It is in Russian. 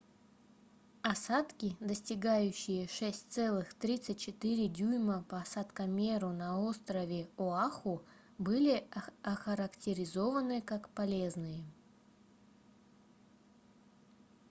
осадки достигающие 6,34 дюйма по осадкомеру на острове оаху были охарактеризованы как полезные